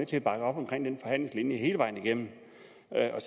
til at bakke op om den forhandlingslinje hele vejen igennem